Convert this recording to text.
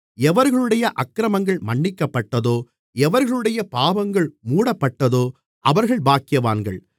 எவர்களுடைய அக்கிரமங்கள் மன்னிக்கப்பட்டதோ எவர்களுடைய பாவங்கள் மூடப்பட்டதோ அவர்கள் பாக்கியவான்கள்